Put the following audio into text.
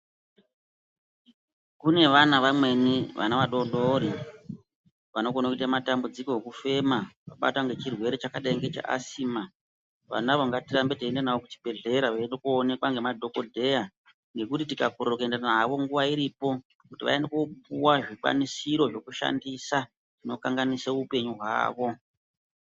Kunevana vamweni, vana vadodori, vanokone kuyita matambudziko okufema vabatwa ngechirwere chakadayi che asima. Vanavo ngatirambe tichiyenda navo kuchibhedleya vendokowonekwa ngemadhokodheya, nokuti tikakona kuyenda navo nguva iripo, kuti vayende kopuwa zvikwanisiro zvokushandisa unokanganise wupenyu wavo.